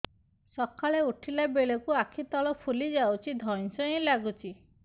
ସକାଳେ ଉଠିଲା ବେଳକୁ ଆଖି ତଳ ଫୁଲି ଯାଉଛି ଧଇଁ ସଇଁ ଲାଗୁଚି